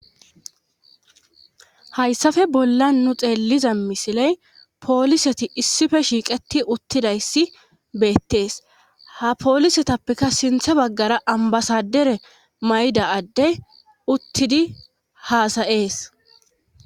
Hayssafe bolla nu xeelliza misiley pooliseti issife shiiqeti uttidayssi beettees ha poolisetappeka sinthe baggara ambasadere mayida adde uttidi haasa7ees.